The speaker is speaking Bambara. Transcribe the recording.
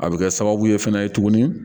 A bɛ kɛ sababu ye fana tuguni